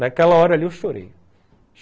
Naquela hora ali eu chorei.